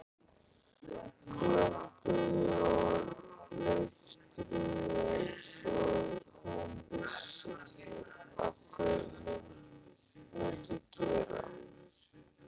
Glömpuðu og leiftruðu einsog hún vissi að þau mundu gera.